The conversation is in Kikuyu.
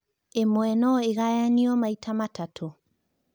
ĩmwe no ingayanio maĩta matatu